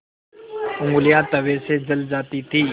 ऊँगलियाँ तवे से जल जाती थीं